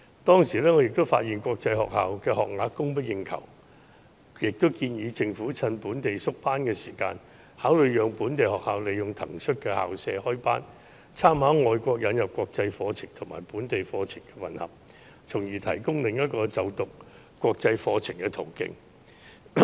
當時我發現國際學校的學額供不應求，便建議政府藉縮班時考慮讓本地學校利用騰出的校舍開班，參考外國引入國際課程和本地課程混合的做法，從而提供另一個就讀國際課程的途徑。